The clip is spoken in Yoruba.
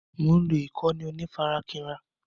Mo ń lọ ìkànnì onífarakínra..